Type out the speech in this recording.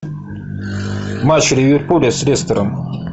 матч ливерпуля с лестером